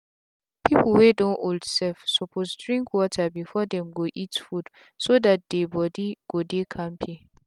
people wey don old small self suppose drink water before them go eat food so that dey body go dey kampe.